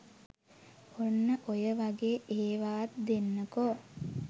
ඔන්න ඔය වගේ ඒවත් දෙන්නකෝ